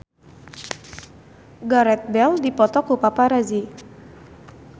Gareth Bale dipoto ku paparazi